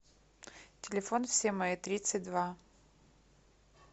телефон все мои тридцать два